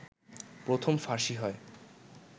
প্রথম ফাঁসি হয়